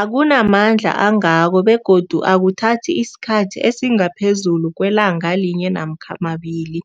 akuna mandla angako begodu akuthathi isikhathi esingaphezulu kwelanga linye namkha mabili,